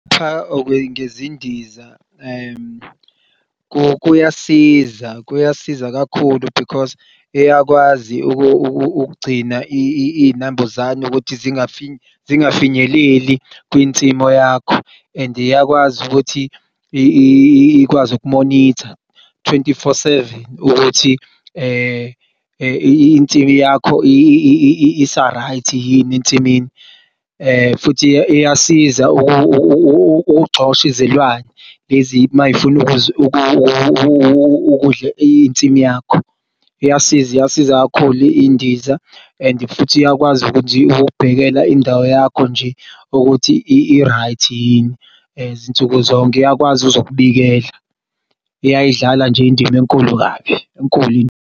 Cha ngezindiza kuyasiza, kuyasiza kakhulu because iyakwazi ukugcina iy'nambuzane ukuthi zingafinyeleli kwinsimu yakho and iyakwazi ukuthi ikwazi uku-monitor twenty-four seven ukuthi insimu yakho isa-right yini ensimini. Futhi iyasiza ukugxosh'izilwane lezi mayifuna ukudl'insimu yakho iyasiza, iyasiza kakhulu indiza and futhi iyakwazi ukuthi izokubhekela indawo yakho nje ukuthi i-right yini zinsuku zonke iyakwazi ukuzokubikela. Iyayidlala nje indima enkulu kabi enkulu indima.